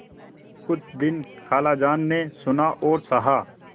कुछ दिन खालाजान ने सुना और सहा